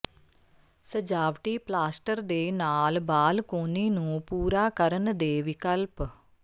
ਸਜਾਵਟੀ ਪਲਾਸਟਰ ਦੇ ਨਾਲ ਬਾਲਕੋਨੀ ਨੂੰ ਪੂਰਾ ਕਰਨ ਦੇ ਵਿਕਲਪ